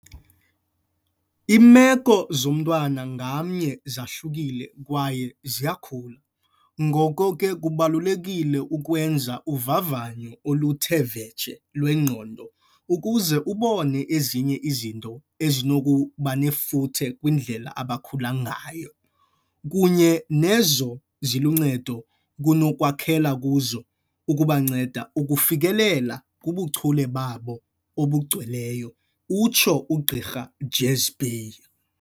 "Iimeko zomntwana ngamnye zahlukile kwaye ziyakhula, ngoko ke kubalulekile ukwenza uvavanyo oluthe vetshe lwengqondo ukuze ubone ezinye izinto ezinokubanefuthe kwindlela abakhula ngayo, kunye nezo ziluncedo kunokwakhela kuzo ukubanceda ukufikelela kubuchule babo obugcweleyo," utsho uGq Jhazbhay.